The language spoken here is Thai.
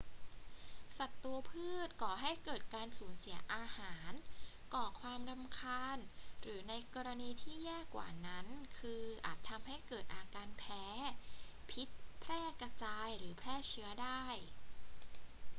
ศัตรูพืชก่อให้เกิดการสูญเสียอาหาร ก่อความรำคาญ หรือในกรณีที่แย่กว่านั้นคืออาจทำให้เกิดอาการแพ้ พิษแพร่กระจาย หรือแพร่เชื้อได้